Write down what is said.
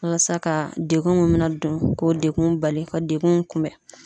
Walasa ka dekun mun be na don k'o dekun bali ka dekun kunbɛ.